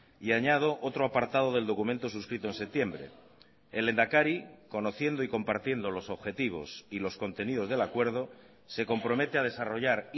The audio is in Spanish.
y añado otro apartado del documento suscrito en septiembre el lehendakari conociendo y compartiendo los objetivos y los contenidos del acuerdo se compromete a desarrollar